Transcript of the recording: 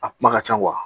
A kuma ka ca